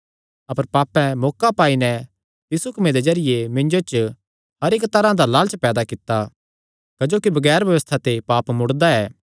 अपर पापें मौका पाई नैं तिस हुक्मे दे जरिये मिन्जो च हर इक्क तरांह दा लालच पैदा कित्ता क्जोकि बगैर व्यबस्था ते पाप मुड़दा ऐ